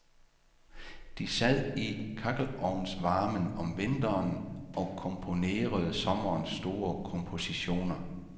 De sad i kakkelovnsvarmen om vinteren og komponerede sommerens store kompositioner.